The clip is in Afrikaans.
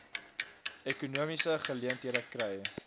ekonomiese geleenthede kry